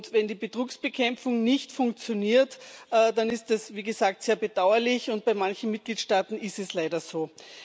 Wenn die Betrugsbekämpfung nicht funktioniert, dann ist das, wie gesagt, sehr bedauerlich, und bei manchen Mitgliedstaaten ist es leider so.